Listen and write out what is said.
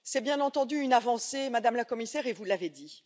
C'est bien entendu une avancée, Madame la Commissaire, vous l'avez dit.